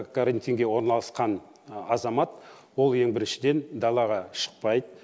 карантинге орналасқан азамат ол ең біріншіден далаға шықпайды